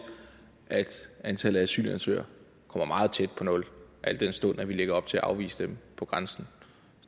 at antallet af asylansøgere kommer meget tæt på nul al den stund at vi lægger op til at afvise dem på grænsen